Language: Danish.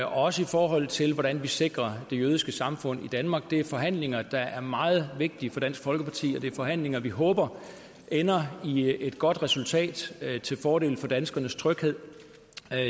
også i forhold til hvordan vi sikrer det jødiske samfund i danmark det er forhandlinger der er meget vigtige for dansk folkeparti og det er forhandlinger vi håber ender i et godt resultat til fordel for danskernes tryghed